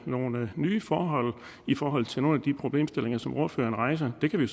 nogle nye forhold i forhold til nogle af de problemstillinger som ordføreren rejser det kan vi